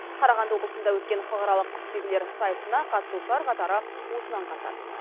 қарағанды облысында өткен халықаралық құсбегілер сайысына қатысушылар қатары осыны аңғартады